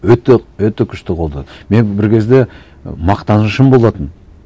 өте өте күшті қолдадым мен бір кезде мақтанышым болатын